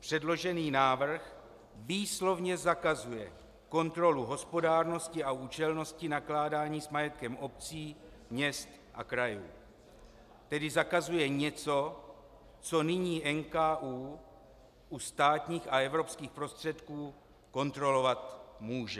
Předložený návrh výslovně zakazuje kontrolu hospodárnosti a účelnosti nakládání s majetkem obcí, měst a krajů, tedy zakazuje něco, co nyní NKÚ u státních a evropských prostředků kontrolovat může.